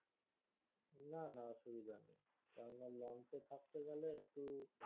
না না অসুবিধা নেই কারণ launch এ থাকতে গেলে একটু